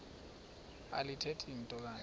alithethi nto kanti